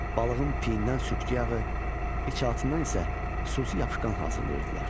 Balığın piyindən sürtgü yağı, içalatından isə xüsusi yapışqan hazırlayırdılar.